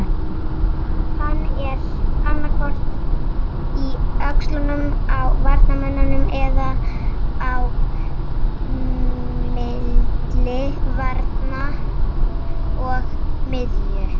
Hann er annaðhvort í öxlunum á varnarmönnunum eða á milli varnar og miðju.